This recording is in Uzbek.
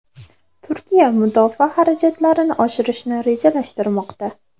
Turkiya mudofaa xarajatlarini oshirishni rejalashtirmoqda.